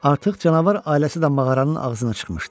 Artıq canavar ailəsi də mağaranın ağzına çıxmışdı.